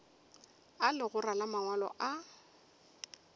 a legora la mangwalo a